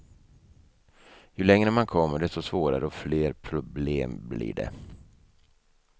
Ju längre man kommer, desto svårare och fler problem blir det.